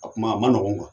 A kuma a man nɔgɔn